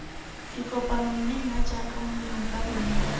dikopano mme nna jaaka molemikalona